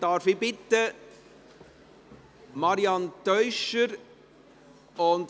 Darf ich Marianne Teuscher bitten?